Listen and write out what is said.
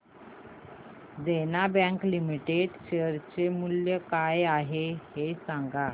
देना bank limited share चे मूल्य काय आहे हे सांगा